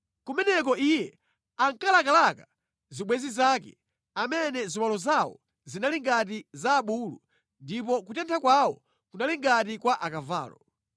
Kumeneko iye ankalakalaka zibwenzi zake, amene ziwalo zawo zinali ngati za abulu ndipo kutentha kwawo kunali ngati kwa akavalo.